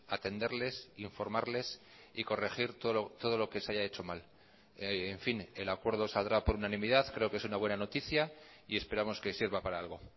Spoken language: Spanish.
atenderles informarles y corregir todo lo que se haya hecho mal en fin el acuerdo saldrá por unanimidad creo que es una buena noticia y esperamos que sirva para algo